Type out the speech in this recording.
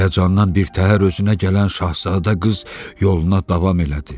Həyəcandan birtəhər özünə gələn Şahzadə qız yoluna davam elədi.